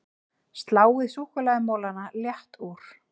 Sláið súkkulaðimolana létt úr